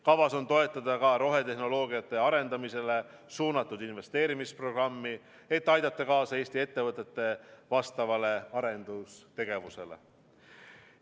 Kavas on toetada ka rohetehnoloogiate arendamisele suunatud investeerimisprogrammi, et aidata kaasa Eesti ettevõtete vastavale arendustegevusele.